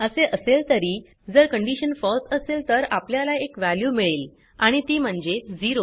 असे असेल तरी जर कंडीशन फळसे असेल तर आपल्याला एक वॅल्यू मिळेल आणि ती म्हणजे 0